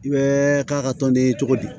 I bɛ k'a ka tɔnden cogo di